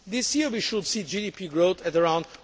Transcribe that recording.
This year, we should see GDP growth at around